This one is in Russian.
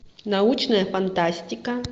научная фантастика